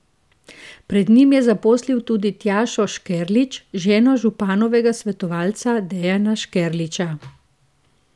Pred njim je zaposlil tudi Tjašo Škerlič, ženo županovega svetovalca Dejana Škerliča.